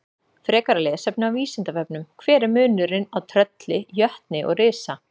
Frekara lesefni á Vísindavefnum: Hver er munurinn á trölli, jötni og risa?